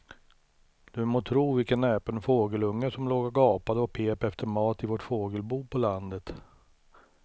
Du må tro vilken näpen fågelunge som låg och gapade och pep efter mat i vårt fågelbo på landet.